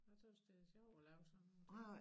Jeg tøs det sjovt at lave sådan nogen ting